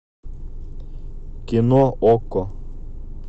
кино окко